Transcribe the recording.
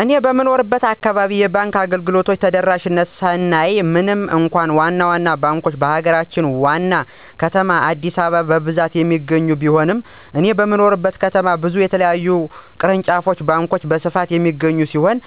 እኔ በምኖርበት አካባቢ የባንክ አገልግሎቶች ተደራሽነት ስናይ ምንም እንኳ ዋና ዋና ባንኮች በሀገራችን ዋና ከተማ አዲስአበባ በብዛት የሚገኙ ቢሆንም እኔ በምኖርበት ከተማ ብዙ የተለያዩ ቅርንጫፍ ባንኮች በስፋት የሚገኙ ሲሆን: